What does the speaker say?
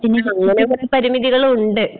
ആ അങ്ങനെ കൊറെ പരിമിതികളുണ്ട്.